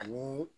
Ani